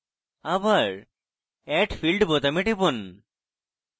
আবার add field এ টিপুন